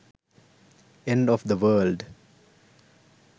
end of the world